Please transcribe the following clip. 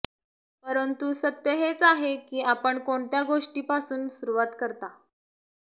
परंतु सत्य हेच आहे की आपण कोणत्या गोष्टीपासून सुरुवात करता